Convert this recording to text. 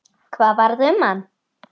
Hvað varð um hann?